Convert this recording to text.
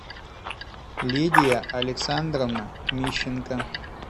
лидия александровна мищенко